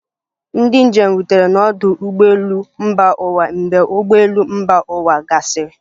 Ndị njem rutere n'ọdụ ụgbọ elu mba ụwa mgbe ụgbọ elu mba ụwa gasịrị